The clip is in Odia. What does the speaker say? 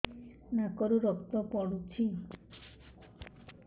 ନାକରୁ ରକ୍ତ ପଡୁଛି